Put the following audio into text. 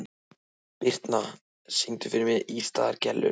Birtna, syngdu fyrir mig „Ísaðar Gellur“.